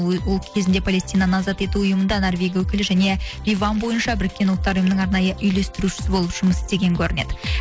ол кезінде палестинаны азат ету ұйымында норвегия өкілі және ливан бойынша біріккен ұлттар ұйымының арнайы үйлестірушісі болып жұмыс істеген көрінеді